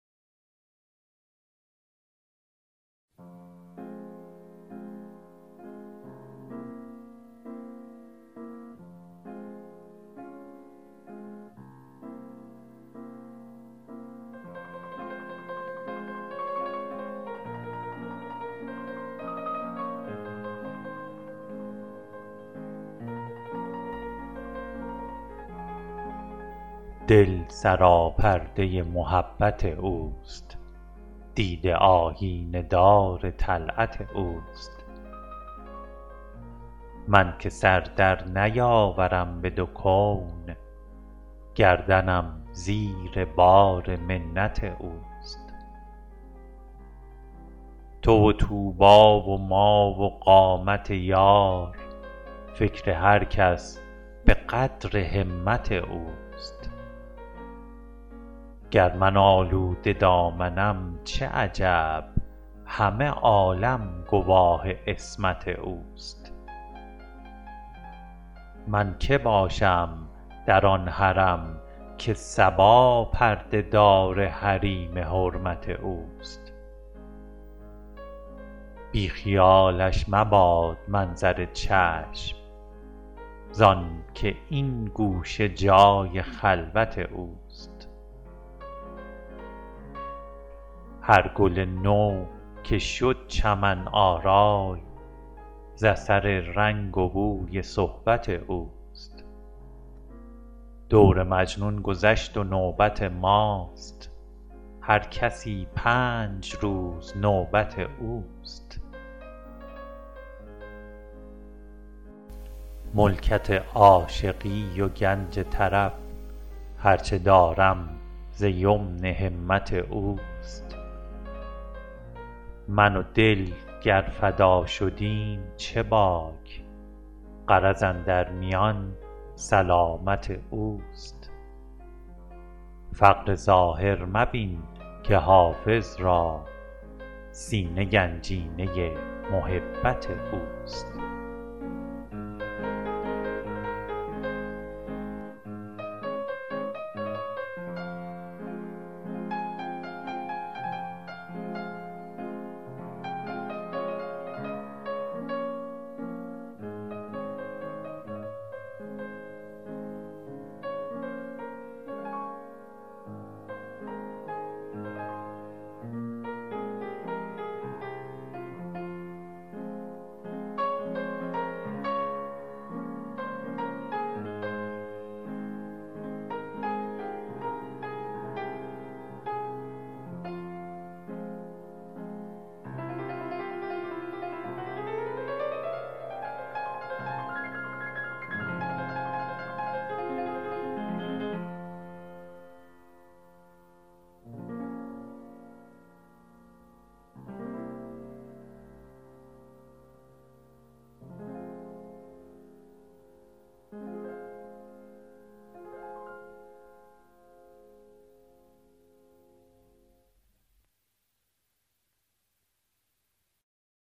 دل سراپرده محبت اوست دیده آیینه دار طلعت اوست من که سر در نیاورم به دو کون گردنم زیر بار منت اوست تو و طوبی و ما و قامت یار فکر هر کس به قدر همت اوست گر من آلوده دامنم چه عجب همه عالم گواه عصمت اوست من که باشم در آن حرم که صبا پرده دار حریم حرمت اوست بی خیالش مباد منظر چشم زآن که این گوشه جای خلوت اوست هر گل نو که شد چمن آرای ز اثر رنگ و بوی صحبت اوست دور مجنون گذشت و نوبت ماست هر کسی پنج روز نوبت اوست ملکت عاشقی و گنج طرب هر چه دارم ز یمن همت اوست من و دل گر فدا شدیم چه باک غرض اندر میان سلامت اوست فقر ظاهر مبین که حافظ را سینه گنجینه محبت اوست